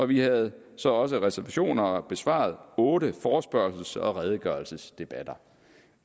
vi havde så også receptioner og har besvaret otte forespørgsels og redegørelsesdebatter